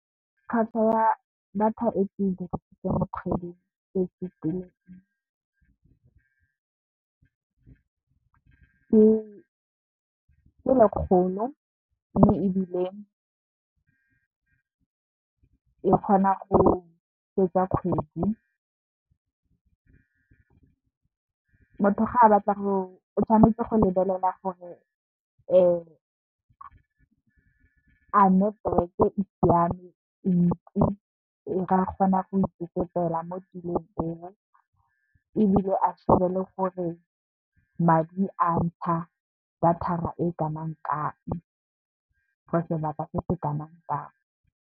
Tlhwatlhwa ya data e ke dirisitseng kgwedi e ke lekgolo. Mme, ebile e kgona go fetsa kgwedi, motho ga e batla o tshwanetse go lebelela gore, a network e siame, e ntsi, a ka kgona go itsetsepela motulong eo ebile, a shebe le gore madi a ntsha data e kanang kang for sebaka se se kanang kang.